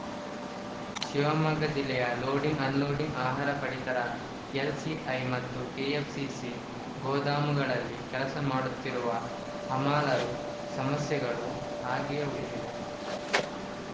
ಶಿವಮೊಗ್ಗ ಜಿಲ್ಲೆಯ loading unloading ಆಹಾರ ಪಡಿತರ ಎಲ್‌ಸಿಐ ಮತ್ತು ಕೆಎಫ್‌ಸಿಸಿ ಗೋದಾಮುಗಳಲ್ಲಿ ಕೆಲಸ ಮಾಡುತ್ತಿರುವ ಹಮಾಲರು ಸಮಸ್ಯೆಗಳು ಹಾಗೆಯೇ ಉಳಿದಿವೆ